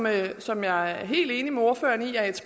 af det som jeg er helt enig med ordføreren i at